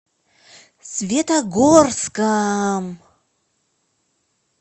светогорском